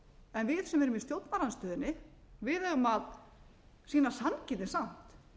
en við sem erum í stjórnarandstöðunni eigum að sýna sanngirni samt